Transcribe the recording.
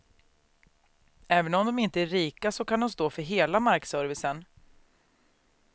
Även om de inte är rika så kan de stå för hela markservicen.